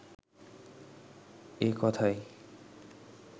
এ কথায়